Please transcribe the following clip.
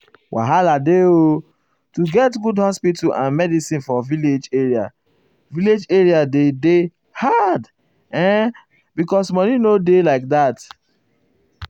wahala dey o to get good hospital and medicin for village area village area dey dey hard[um]because money nor dey like that.